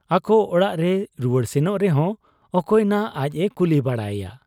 ᱟᱠᱚ ᱚᱲᱟᱜ ᱨᱮᱭ ᱨᱩᱣᱟᱹᱲ ᱥᱮᱱᱚᱜ ᱨᱮᱦᱚᱸ ᱚᱠᱚᱭ ᱱᱷᱟᱜ ᱟᱡ ᱮ ᱠᱩᱞᱤ ᱵᱟᱲᱟᱭᱮᱭᱟ ?